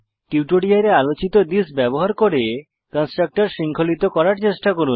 টিউটোরিয়ালে আলোচিত থিস ব্যবহার করে কন্সট্রাকটর শৃঙ্খলিত করার চেষ্টা করুন